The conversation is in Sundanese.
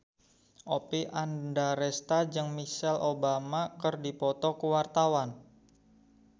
Oppie Andaresta jeung Michelle Obama keur dipoto ku wartawan